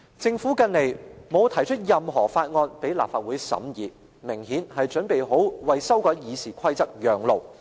政府近來沒有提交任何法案供立法會審議，明顯是準備好為修改《議事規則》讓路。